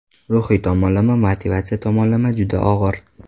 Ruhiy tomonlama, motivatsiya tomonlama juda og‘ir.